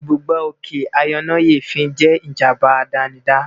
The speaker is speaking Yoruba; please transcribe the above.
Ìbúgbàù òkè ayọnáyèéfín jẹ́ ìjábá àdánidá